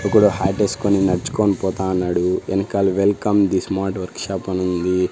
ఒకడు హ్యాటెస్కొని ఎస్కుని నడ్చుకొని పోతా ఉన్నాడు ఎన్కాల welcome the smart workshop అనుంది.